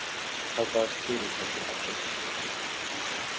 Þá baðst fyrirtækið afsökunar